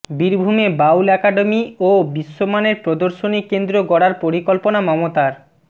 বীরভূমে বাউল অ্যাকাডেমি ও বিশ্বমানের প্রদর্শনী কেন্দ্র গড়ার পরিকল্পনা মমতার